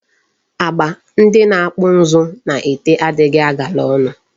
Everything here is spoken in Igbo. Agba ndị na-akpụ ụzụ na-ete adịghị agala ọnụ.